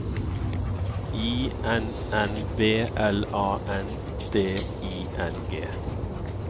I N N B L A N D I N G